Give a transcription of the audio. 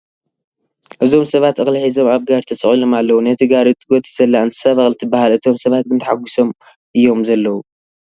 እዞም ሰባት እኽሊ ሒዞም ኣብ ጋሪ ተሰቒሎም ኣለዉ ነቲ ጋሪ እትጎትት ዘላ እንስሳ በቕሊ ትበሃል ፡ እቶም ሰባት ግን ተሓጊሶም አዮም ዘለዉ ።